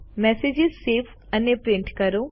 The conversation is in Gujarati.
મેસેજ સેવ અને પ્રિન્ટ કરો